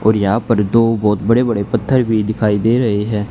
और यहां पर दो बहुत बड़े बड़े पत्थर भी दिखाई दे रहे हैं।